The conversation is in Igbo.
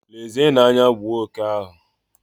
Lezienụ anya, gbuo oke ahụ!